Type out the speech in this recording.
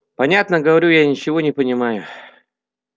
понятно говорю я ничего не понимая